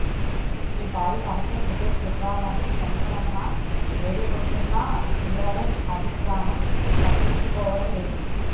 ఈసారి తనకే టికెట్ ఇవ్వాలని శంకరమ్మ వేడుకుంటున్నా టీఆర్ఎస్ అధిష్టానం పట్టించుకోవడం లేదు